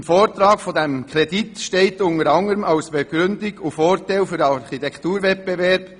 Im Vortrag zum Kredit steht unter anderem als Begründung und als Vorteil für den Architekturwettbewerb: